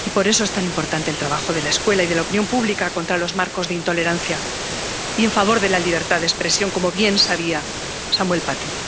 y, por eso, es tan importante el trabajo de la escuela y de la opinión pública contra los marcos de intolerancia y en favor de la libertad de expresión, como bien sabía Samuel Paty.